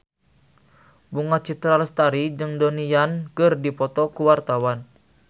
Bunga Citra Lestari jeung Donnie Yan keur dipoto ku wartawan